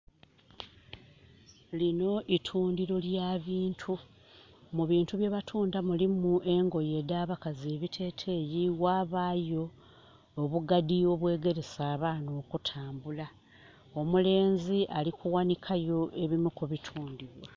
Linho itundiro lya bintu. Mu bintu byebatunda mulimu engoye edha abakazi ebiteteeyi, ghabaayo obugadi obwegelesa abaana okutambula. Omulenzi ali kughanika yo ebimu ku bitundibwa.